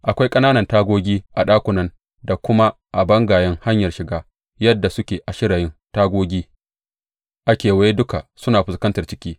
Akwai ƙananan tagogi a ɗakunan da kuma a bangayen hanyar shiga, yadda suke a shirayin; tagogi a kewaye duka suna fuskantar ciki.